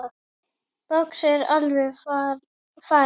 Boxið er alveg farið.